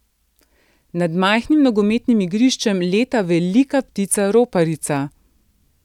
Nad majhnim nogometnim igriščem leta velika ptica roparica.